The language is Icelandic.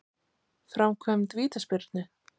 Framkvæmd vítaspyrnu?